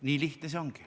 Nii lihtne see ongi.